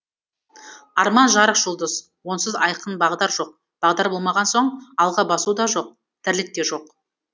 арман жарық жұлдыз онсыз айқын бағдар жоқ бағдар болмаған соң алға басу да жоқ тірлік те жоқ